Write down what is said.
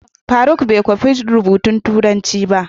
Faruk bai kwafa rubutun turanci ba.